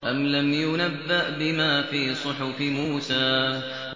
أَمْ لَمْ يُنَبَّأْ بِمَا فِي صُحُفِ مُوسَىٰ